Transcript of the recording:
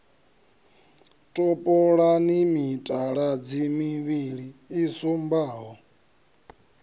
topolani mitaladzi mivhili i sumbaho